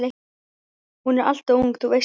Hún er alltof ung, þú veist það.